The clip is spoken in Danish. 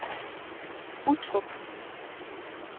Uttrup